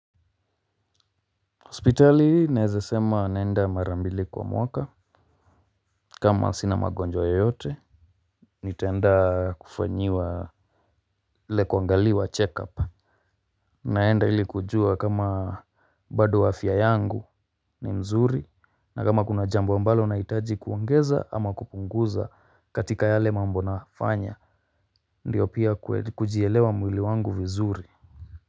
Hospitali naeza sema naenda mara mbili kwa mwaka kama sina magonjwa yoyote nitaenda kufanyiwa ile kuangaliwa check up. Naenda ili kujua kama bado afya yangu ni nzuri na kama kuna jambo ambalo nahitaji kuongeza ama kupunguza katika yale mambo nafanya. Ndiyo pia kujielewa mwili wangu vizuri